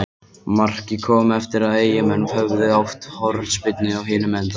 Markið kom eftir að Eyjamenn höfðu átt hornspyrnu á hinum enda vallarins.